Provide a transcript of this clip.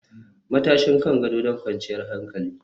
Matashin kan gado don kwanciyar hankali